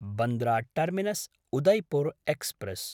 Bandra टर्मिनस्–उदयपुर् express